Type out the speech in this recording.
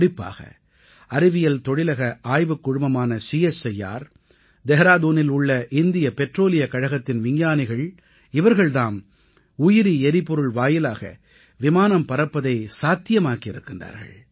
குறிப்பாக அறிவியல் தொழிலக ஆய்வுக் குழுமமான சிஎஸ்ஆய்ஆர் தெஹ்ராதூனில் உள்ள இந்திய பெட்ரோலியக் கழகத்தின் விஞ்ஞானிகள் தாம் உயிரி எரிபொருள் வாயிலாக விமானம் பறப்பதை சாத்தியமாக்கி இருக்கின்றார்கள்